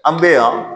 An bɛ yan